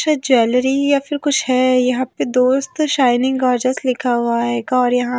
शायद ज्वेलरी या फिर कुछ है यहां पे दोस्त शाइनिंग गॉर्जस लिखा हुआ है और यहाँ--